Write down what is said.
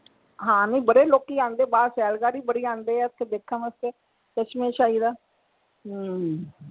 ਹਾਂ ਨਹੀਂ ਬੜੇ ਲੋਕੀ ਆਉਂਦੇ ਆ ਬਾਹਰ ਬੜੇ ਆਉਂਦੇ ਆ ਓਥੇ ਦੇਖਣ ਵਾਸਤੇ ਚਸ਼ਮੇ ਸ਼ਾਹੀ ਦਾ ਹਮ